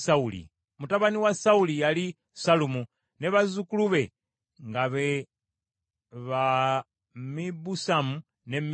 Mutabani wa Sawuli yali Sallumu, ne bazzukulu be nga be Mibusamu ne Misuma.